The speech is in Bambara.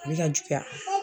Ne ka juguya.